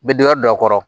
Bɛ dingɛ don a kɔrɔ